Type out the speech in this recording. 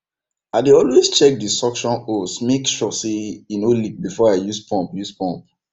i dey always check the suction hose make sure say e no leak before i use pump use pump